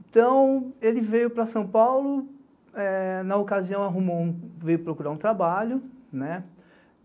Então, ele veio para São Paulo, na ocasião veio procurar um trabalho.